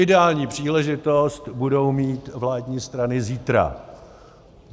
Ideální příležitost budou mít vládní strany zítra.